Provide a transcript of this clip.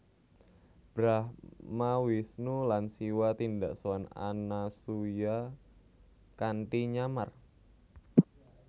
Brahma Wisnu lan Siwa tindak sowan Anasuya kanthi nyamar